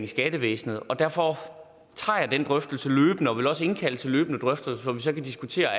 skattevæsenet og derfor tager jeg den drøftelse løbende og vil også indkalde til løbende drøftelser hvor vi så kan diskutere